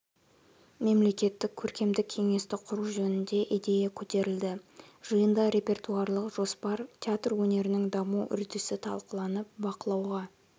мемлекеттік көркемдік кеңесті құру жөнінде идея көтерілді жиында репертуарлық жоспар театр өнерінің даму үрдісі талқыланып бақылауға